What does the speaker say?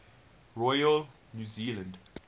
royal new zealand